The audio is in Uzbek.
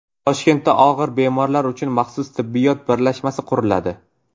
Toshkentda og‘ir bemorlar uchun maxsus tibbiyot birlashmasi quriladi.